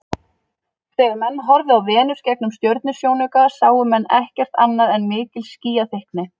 Þegar menn horfðu á Venus gegnum stjörnusjónauka sáu menn ekkert annað en mikil skýjaþykkni.